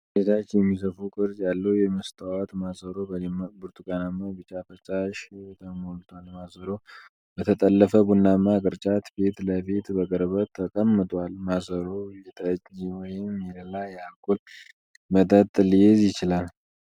ወደ ታች የሚሰፋ ቅርጽ ያለው የመስታወት ማሰሮ በደማቅ ብርቱካናማ-ቢጫ ፈሳሽ ተሞልቷል። ማሰሮው በተጠለፈ ቡናማ ቅርጫት ፊት ለፊት በቅርበት ተቀምጧል፤ ማሰሮው የጠጅ ወይም የሌላ የአልኮል መጠጥ ሊይዝ ይችላል።